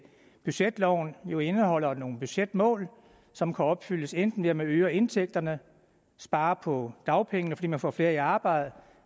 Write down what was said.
budgetloven jo indeholder nogle budgetmål som kan opfyldes enten ved at man øger indtægterne og sparer på dagpengene fordi man får flere i arbejde